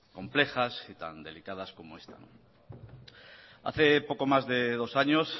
complejas y tan delicadas como esta hace poco más de dos años